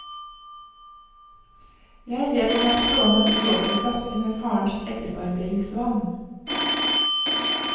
Jeg vet hun har stående en uåpnet flaske med farens etterbarberingsvann.